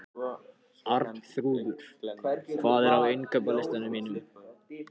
Arnþrúður, hvað er á innkaupalistanum mínum?